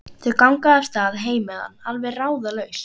Þau ganga af stað heim með hann, alveg ráðalaus.